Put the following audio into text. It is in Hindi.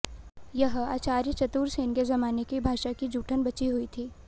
यह आचार्य चतुरसेन के जमाने की भाषा की जूठन बची हुई थी